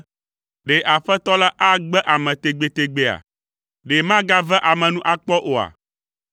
“Ɖe Aƒetɔ la agbe ame tegbetegbea? Ɖe magave ame nu akpɔ oa?